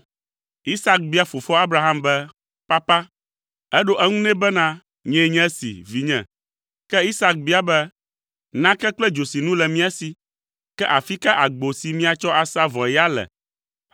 Isak bia fofoa Abraham be, “Papa!” Eɖo eŋu nɛ bena “Nyee nye si, vinye!” Ke Isak bia be, “Nake kple dzosinu le mía si, ke afi ka agbo si míatsɔ asa vɔe ya le?”